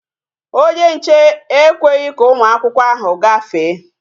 Onye nche ekweghị ka ụmụ akwụkwọ ahụ gafee